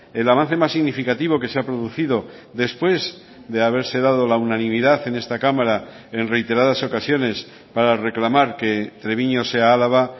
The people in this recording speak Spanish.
el avance más significativo que se ha producido después de haberse dado la unanimidad en esta cámara en reiteradas ocasiones para reclamar que treviño sea álava